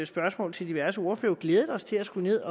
spørgsmål til diverse ordførere glædet os til at skulle ned